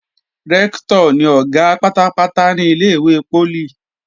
Rẹ́ktọ̀ ni Ọ̀gá pátápátá ní ilé-ìwé poli